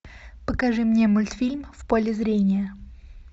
покажи мне мультфильм в поле зрения